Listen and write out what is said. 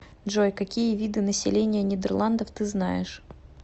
джой какие виды население нидерландов ты знаешь